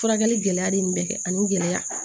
Furakɛli gɛlɛya bɛ nin bɛɛ kɛ ani gɛlɛya